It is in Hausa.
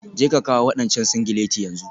Jeka kawo wadancan singileti yanzu.